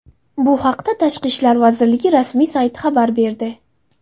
Bu haqda Tashqi ishlar vazirligi rasmiy sayti xabar berdi .